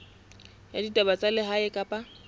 ya ditaba tsa lehae kapa